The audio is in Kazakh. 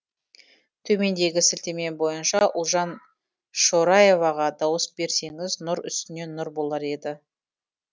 төмендегі сілтеме бойынша ұлжан шораеваға дауыс берсеңіз нұр үстіне нұр болар еді